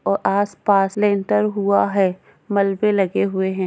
और आसपास लेंटर हुआ है मलबे लगे हुए हैं।